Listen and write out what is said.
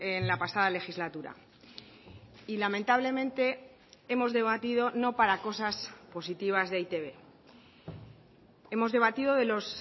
en la pasada legislatura y lamentablemente hemos debatido no para cosas positivas de e i te be hemos debatido de los